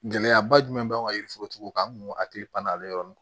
Gɛlɛyaba jumɛn b'an kan yiri forotigiw kan an kun hakili pann'ale yɔrɔnin